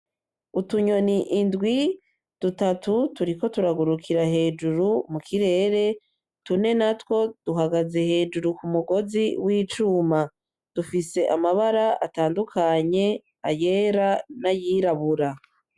Utunyoni indwi dutatu turiko turagurukira hejuru , mukirere tune natwo duhagaze hejuru kumugozi wicuma dufise amabara atandukanye, ayera nayirabura.